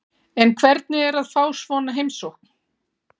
En hvernig er að fá svona heimsókn?